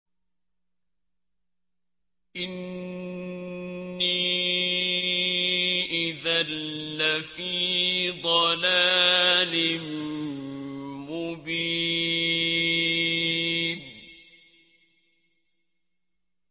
إِنِّي إِذًا لَّفِي ضَلَالٍ مُّبِينٍ